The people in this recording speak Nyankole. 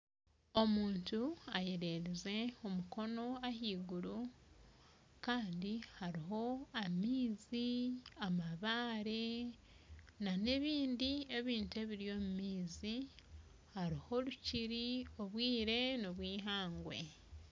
Omuntu ayererize omukono ahaiguru Kandi hariho amaizi amabaare nana ebindi ebintu ebiri omu maizi hariho orukiri obwire nobwihangwe